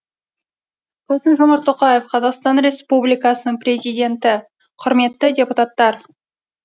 қасым жомарт тоқаев қазақстан республикасының президенті құрметті депутаттар